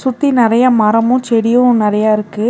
சுத்தி நெறையா மரமு செடியு நெறையா இருக்கு.